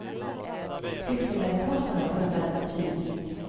Klyftan mellan parterna är blott alltför tydlig.